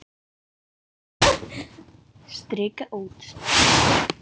Strika út.